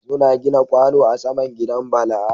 Suna buga kwano a saman gidan bala